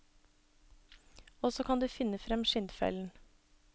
Og så kan du finne frem skinnfellen.